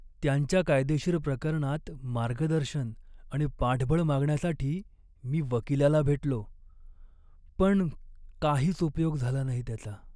त्यांच्या कायदेशीर प्रकरणात मार्गदर्शन आणि पाठबळ मागण्यासाठी मी वकिलाला भेटलो, पण काहीच उपयोग झाला नाही त्याचा!